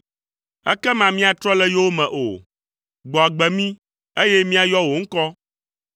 Ekema míatrɔ le yowòme o; gbɔ agbe mí, eye míayɔ wò ŋkɔ.